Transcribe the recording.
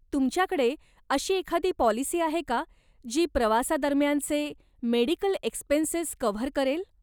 तुमच्या कडे अशी एखादी पॉलिसी आहे का, जी प्रवासा दरम्यानचे मेडिकल एक्स्पेन्सेस कव्हर करेल.